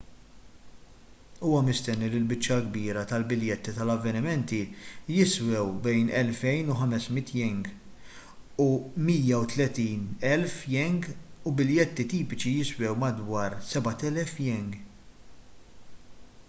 huwa mistenni li l-biċċa l-kbira tal-biljetti tal-avvenimenti jiswew bejn ¥2,500 u ¥130,000 u biljetti tipiċi jiswew madwar ¥7,000